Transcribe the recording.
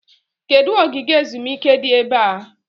Kedụ ogige ezumike dị ebe a?